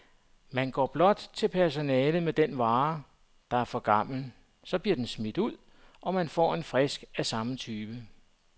Man går blot til personalet med den vare, der er for gammel, så bliver den smidt ud, og man får en frisk af samme type.